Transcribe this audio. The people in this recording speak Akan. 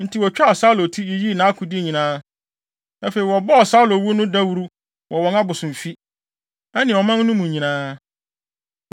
Enti wotwaa Saulo ti, yiyii nʼakode nyinaa. Afei, wɔbɔɔ Saulo wu no dawuru wɔ wɔn abosomfi, ne ɔman no mu nyinaa.